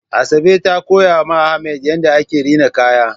Asabe ta koya ma Ahmad yadda ake rina kaya